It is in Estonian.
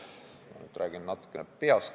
Nüüd räägin ma natukene peast.